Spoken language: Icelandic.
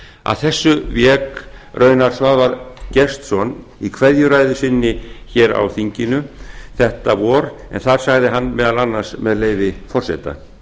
að þessu vék raunar svavar gestsson í kveðjuræðu sinni á þinginu þetta vor en þar sagði hann meðal annars með leyfi forseta